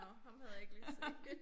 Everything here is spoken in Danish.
Nåh ham havde jeg ikke lige set